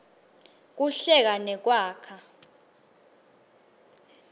kuhlela nekwakha